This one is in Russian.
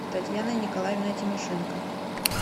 татьяной николаевной тимошенко